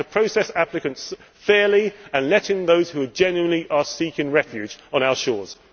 We have to process applicants fairly and let in those who genuinely are seeking refuge on our shores.